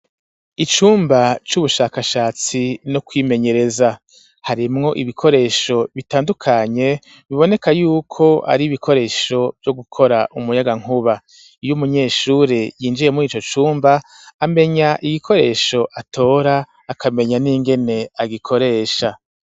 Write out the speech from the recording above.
Icumba c'ubushakashatsi no kwimenyereza, harimwo ibikoresho bitandukanye, biboneka y'uko ari ibikoresho vyo gukora umuyagankuba, iyo umunyeshure yinjiye muri ico cumba, amenya igikoresho atora, akamenya n'ingene agikoresha.